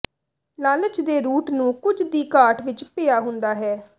ਲਾਲਚ ਦੇ ਰੂਟ ਨੂੰ ਕੁਝ ਦੀ ਘਾਟ ਵਿੱਚ ਪਿਆ ਹੁੰਦਾ ਹੈ